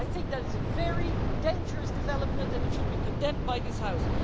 I think that is a very dangerous development and it should be condemned by this House.